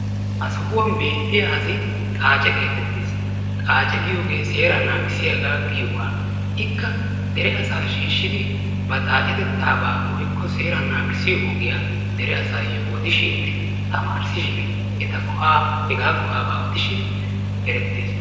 ha soohuwaan beetiyaa asi xacce geettettees. xaacce giyoogee seeraa naagisiyaagaa giyoogaa. ikka dere asaa shiishidi ba xaaccetetaaba woykko seeraa naagisiyoo ogiyaa dere asaayoo odishiininne tamarisishin eta go'aa hegaa go"aabaa odishshin erettees.